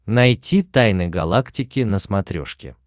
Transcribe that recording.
найти тайны галактики на смотрешке